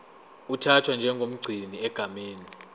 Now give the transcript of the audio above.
uthathwa njengomgcini egameni